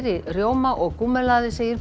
rjóma og gúmmelaði segir